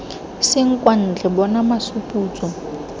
seng kwa ntle bona masuputso